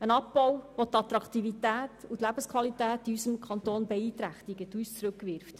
Es ist ein Abbau, der die Attraktivität und die Lebensqualität in unserem Kanton beeinträchtigt und uns zurückwirft.